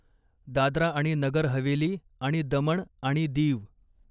दादरा आणि नगर हवेली आणि दमण आणि दीव